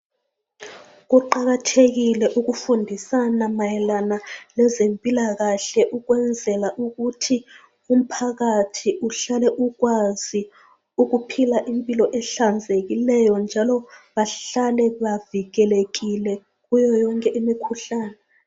Kuqakathekile ukufundisana mayelana lezempilakahle ukwenzela ukuthi umphakathi uhlale ukwazi ukuphila impilo ehlanzekileyo njalo bahlale bevikelekile kuyo yonke imikhuhlane.